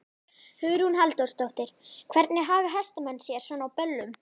Hugrún Halldórsdóttir: Hvernig haga hestamenn sér svona á böllum?